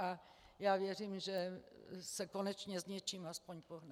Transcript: A já věřím, že se konečně s něčím aspoň pohne.